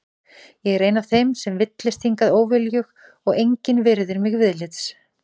Ég er ein af þeim sem villtist hingað óviljug og engin virðir mig viðlits.